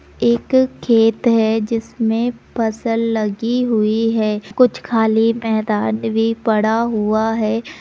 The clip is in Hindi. एक खेत है जिसमें फसल लगी हुई है कुछ खाली मैदान भी पड़ा हुआ है।